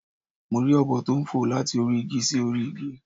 Mo rí ọ̀bọ tó n fò láti orí igi sórí igi